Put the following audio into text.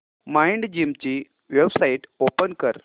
Mindgym ची website open कर